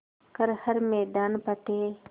कर हर मैदान फ़तेह